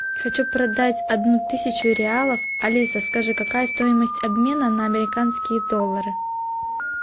хочу продать одну тысячу реалов алиса скажи какая стоимость обмена на американские доллары